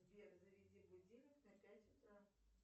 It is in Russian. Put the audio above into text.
сбер заведи будильник на пять утра